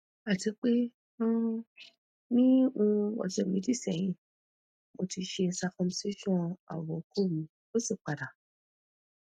atipe um ni um ose meji sehin mo ti se circumcision awo oko mi osi pada